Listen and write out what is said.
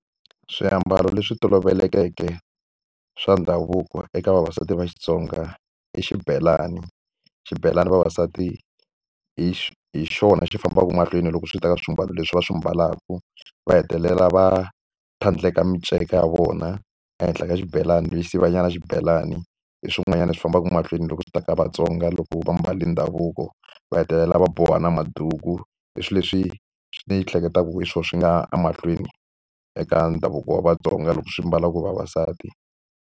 Swiambalo leswi tolovelekeke swa ndhavuko eka vavasati va Xitsonga i xibelani. Xibelani vavasati hi hi xona xi fambaka mahlweni loko swi ta ka swiambalo leswi va swi ambalaka. Va hetelela va tlhandleka minceka ya vona ehenhla ka xibelani lexi sivakanyana xibelani, hi swin'wanyana swi fambaka mahlweni loko swi ta ka Vatsonga loko va ambale ndhavuko. Va hetelela va boha ni maduku, i swilo leswi ndzi hleketaka hi swona swi nga ya emahlweni eka ndhavuko wa Vatsonga loko swi mbalaka hi vavasati.